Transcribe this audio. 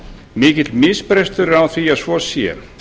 mikill misbrestur er á því að svo sé